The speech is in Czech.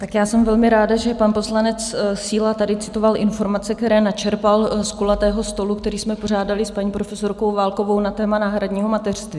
Tak já jsem velmi ráda, že pan poslanec Síla tady citoval informace, které načerpal z kulatého stolu, který jsme pořádaly s paní profesorkou Válkovou na téma náhradního mateřství.